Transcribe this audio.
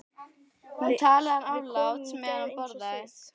Við komum í gær eins og þið.